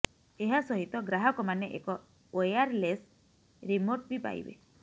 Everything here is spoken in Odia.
ଏହା ସହିତ ଗ୍ରାହକମାନେ ଏକ ଓୟାରଲେସ୍ ରିମୋଟ୍ ବି ପାଇବେ